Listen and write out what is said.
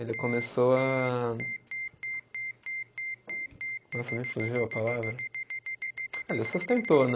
Ele começou a nossa, me fugiu a palavra, ah ele sustentou, né?